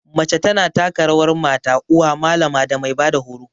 Mace ta na taka rawar mata, uwa, malama da mai ba da horo.